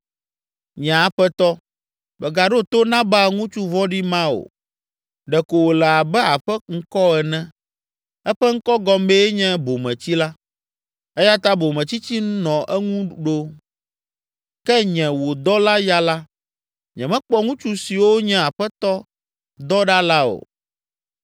Nye aƒetɔ, megaɖo to Nabal ŋutsu vɔ̃ɖi ma o. Ɖe ko wòle abe aƒe ŋkɔ ene. Eƒe ŋkɔ gɔmee nye Bometsila. Eya ta bometsitsi nɔ eŋu ɖo. Ke nye, wò dɔla, ya la, nyemekpɔ ŋutsu siwo nye aƒetɔ dɔ ɖa la o.